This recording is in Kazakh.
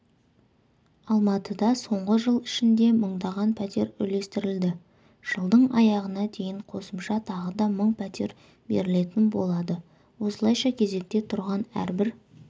алматыда соңғы жыл ішінде мыңдаған пәтер үлестірілді жылдың аяғына дейін қосымша тағы да мың пәтер берілетін болады осылайша кезекте тұрған әрбір